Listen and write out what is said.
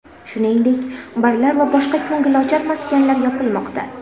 Shuningdek, barlar va boshqa ko‘ngilochar maskanlar yopilmoqda.